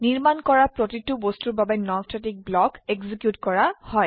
নিৰ্মাণ কৰা প্ৰতিটি বস্তুৰ বাবে নন স্ট্যাটিক ব্লক এক্সিকিউট কৰা হয়